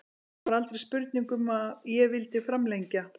Það var aldrei spurning um að ég vildi framlengja.